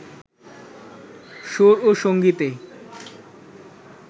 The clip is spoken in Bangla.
সুর ও সংগীতে